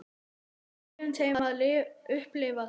Leyfum þeim að upplifa það.